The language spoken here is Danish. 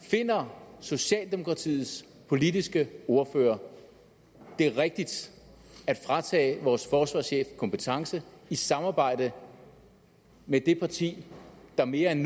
finder socialdemokratiets politiske ordfører det rigtigt at fratage vores forsvarschef kompetence i samarbejde med det parti der mere end